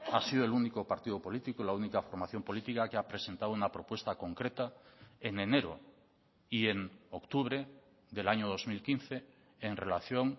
ha sido el único partido político la única formación política que ha presentado una propuesta concreta en enero y en octubre del año dos mil quince en relación